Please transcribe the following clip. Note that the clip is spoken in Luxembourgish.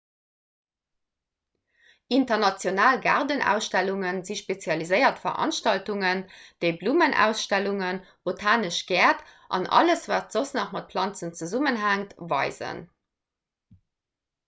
international gaardenausstellunge si spezialiséiert veranstaltungen déi blummenausstellungen botanesch gäert an alles wat soss nach mat planzen zesummenhänkt weisen